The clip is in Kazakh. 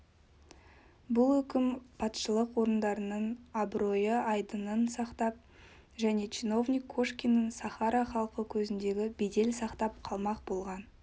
бұл үкім патшалық орындарының абырой-айдынын сақтап және чиновник кошкиннің сахара халқы көзіндегі бедел сақтап қалмақ болған